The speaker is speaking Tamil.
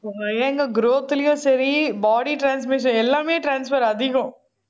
growth லயும் சரி body transmission எல்லாமே transfer அதிகம்